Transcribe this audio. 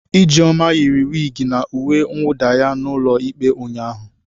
Ijeoma yiri wigi na uwe mwuda ya n'ulo ikpe ụnyaahụ.